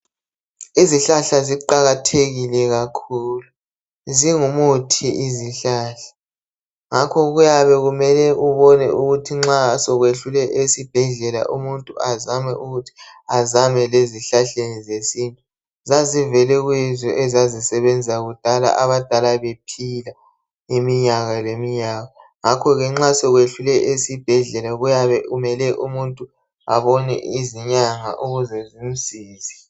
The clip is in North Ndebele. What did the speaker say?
Izihlahla ziqakathekile kakhulu ,zingumuthi izihlahla ngakho kuyabe kumele ubone ukuthi nxa sokwehlule esibhedlela umuntu azame ukuthi azame lezihlahleni zesintu, zazivele kuyizo ezazisebenza kudala abadala bephila iminyaka leminyaka ngakho ke nxa sokwehlule esibhedlela kuyabe kumele umuntu abone izinyanga ukuze zimsize